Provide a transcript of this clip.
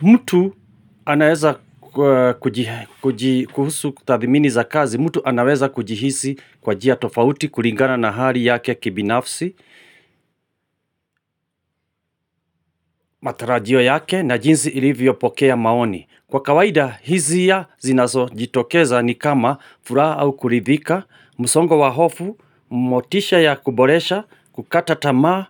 Mutu anaweza kuhusu tathimini za kazi, mutu anaweza kujihisi kwa jia tofauti kulingana na hali yake kibinafsi, matarajio yake na jinsi ilivyo pokea maoni. Kwa kawaida hizia zinazo jitokeza ni kama furaha au kuridhika, musongo wa hofu, motisha ya kuboresha, kukata tamaa,